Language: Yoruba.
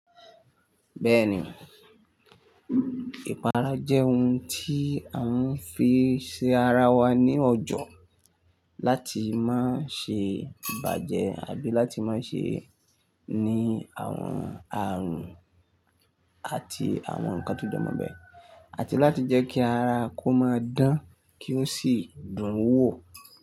Bẹ́ẹ̀ni, ìpara jẹ́ ohun tí a ń fi ṣe ara wa ní ọjọ́ láti má ṣe bàjẹ́ àbí láti má ṣe ní àwọn àrùn àti àwọn nkan tó jọmọ́ bẹ́ẹ̀, àti láti jẹ́ kí ara kó máa dán kí ó sì dùn wò.